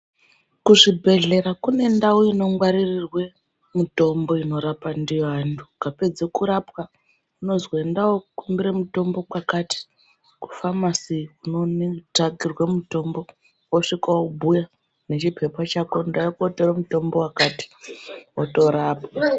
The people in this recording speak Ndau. Kuzvibhedhlera kune ndau ino ngwarirwe mitombo ino rapwa ndiyo anhu ukapedzwa kurapa unonzi enda kokumbira mutombo kwakati kufamasi unotsvakirwa mitombo wosvika wobhuya nechipepa chako ndauya kutora mutombo wakati wotorapwa .